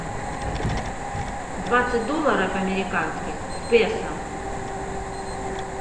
двадцать долларов американских в песо